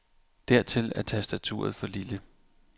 Dertil er tastaturet for lille.